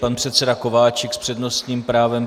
Pan předseda Kováčik s přednostním právem.